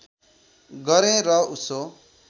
गरेँ र उसो